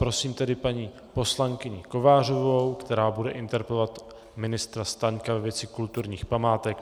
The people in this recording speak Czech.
Prosím tedy paní poslankyni Kovářovou, která bude interpelovat ministra Staňka ve věci kulturních památek.